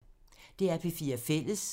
DR P4 Fælles